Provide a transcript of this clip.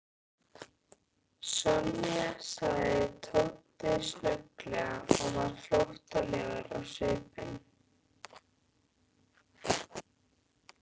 Sonja sagði Tóti snögglega og varð flóttalegur á svip.